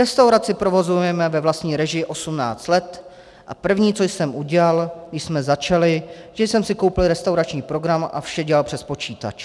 Restauraci provozujeme ve vlastní režii 18 let a první, co jsem udělal, když jsme začali, že jsem si koupil restaurační program a vše dělal přes počítač.